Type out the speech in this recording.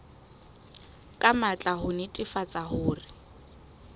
ka matla ho netefatsa hore